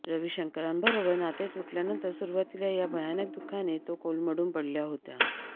रविशंकरांबरोबर नाते तुटल्यानंतर सुरुवातीला या भयानक दुःखाने तो कोलमडून पडल्या होत्या